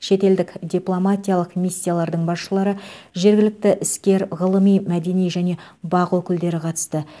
шетелдік дипломатиялық миссиялардың басшылары жергілікті іскер ғылыми мәдени және бақ өкілдері қатысты